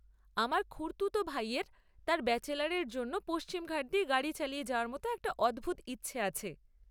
আমার খুড়তুতো ভাইয়ের তার ব্যাচেলারের জন্য পশ্চিম ঘাট দিয়ে গাড়ি চালিয়ে যাওয়ার মতো একটা অদ্ভুত ইচ্ছে আছে।